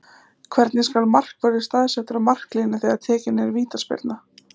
Hvernig skal markvörður staðsettur á marklínu þegar tekin er vítaspyrna?